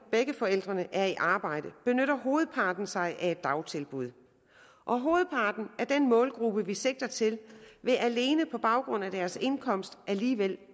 begge forældrene er i arbejde benytter hovedparten sig af et dagtilbud og hovedparten af den målgruppe vi sigter til vil alene på baggrund af deres indkomst alligevel